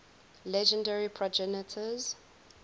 legendary progenitors